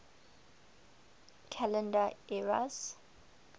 calendar eras